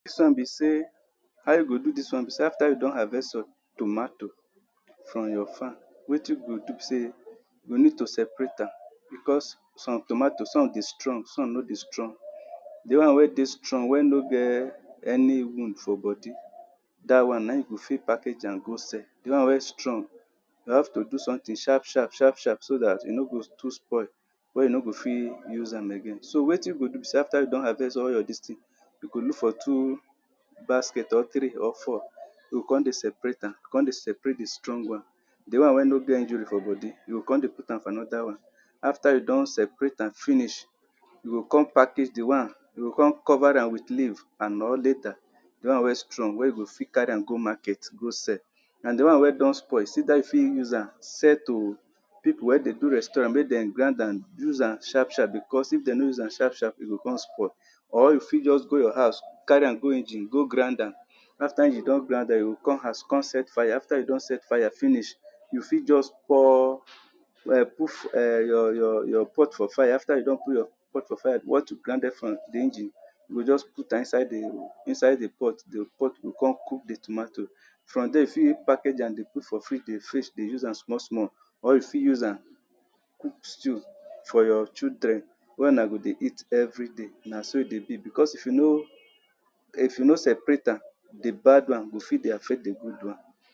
Dis one be sey, how you go do dis one be sey, after you don harvest your tomato from your farm wetin you go do be sey, you need to separate am because, some tomato, some dey strong, some no dey strong. the one wey dey strong wey no get any wound for body, dat one na you go fit package am go sell. the one wey strong you have to do someting sharp, sharp, sharp, sharp, so dat e no go too spoil wey no go fit use am again. so wetin you go do be sey after you don harvest all your dis ting you go look for two basket or three or four, yo con dey separate am, con dey separate the strong one the one wey no get injury for body, you go con dey put am for another one, after you don separate am finish, you go con package the one, you go con cover am with leave, and or the one wey strong, wey you go fit carry am go market go sell. na the one wey don spoil, is either you fit use am sell to, pipo wey dey do restaurant, make dem grind am, use am sharp, sharp, because if dem no use am sharp, sharp, e go con spoil or you fit just go your house, carry am go engine go grind am, after engine don grind am, you go come house, come set fire, after you don set fire finish, you fit just pour um put, um your your your pot for fire, after you don put your pot for fire what you grinded from the engine, yo just put am inside the inside the pot, the pot go con cook the tomato from there you fit package am dey put for fridge, dey fridge, dey use am small small, or you fit use am cook stew for your children wey na go dey eat everyday na so e dey be because, if you no, if you no separate am the bad one go fit dey affect the good one.